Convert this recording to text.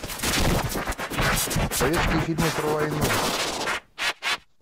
советские фильмы про войну